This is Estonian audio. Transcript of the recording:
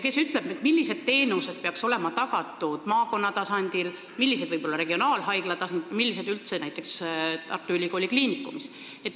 Kes ütleb, millised teenused peaks olema tagatud maakonna tasandil, millised võib-olla regionaalhaigla tasandil, millised üldse näiteks Tartu Ülikooli Kliinikumis?